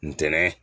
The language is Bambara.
Ntɛnɛn